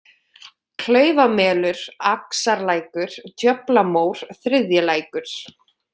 Klaufamelur, Axarlækur, Djöflamór, Þriðjilækur